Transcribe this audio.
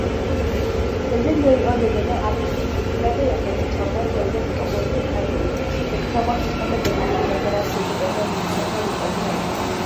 እዚ ንሪኦ ዘለና ኣብ ምስሊ ዝተፈላለዩ ዓይነት ጫማ ኮይኖም ጥቅሞም ግን ሓድ እዩ። ደቂ ስባት ዝኮነ ብላሕቲ ንግራት ክይጎድኣና ንምኽልካል ዝጠቅሙና እዩም።